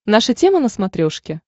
наша тема на смотрешке